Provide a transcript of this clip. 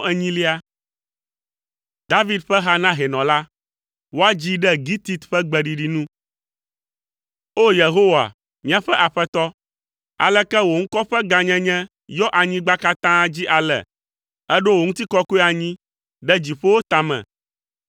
David ƒe ha na hɛnɔ la. Woadzii ɖe gitit ƒe gbeɖiɖi nu. O Yehowa, míaƒe Aƒetɔ, aleke wò ŋkɔ ƒe gãnyenye yɔ anyigba katã dzi ale! Èɖo wò ŋutikɔkɔe anyi ɖe dziƒowo tame.